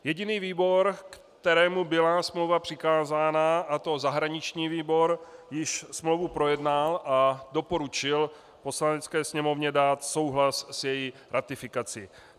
Jediný výbor, kterému byla smlouva přikázána, a to zahraniční výbor, již smlouvu projednal a doporučil Poslanecké sněmovně dát souhlas s její ratifikací.